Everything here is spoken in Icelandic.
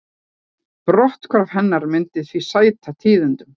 Brotthvarf hennar myndi því sæta tíðindum